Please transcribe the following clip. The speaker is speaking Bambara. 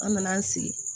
An nana an sigi